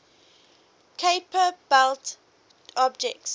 kuiper belt objects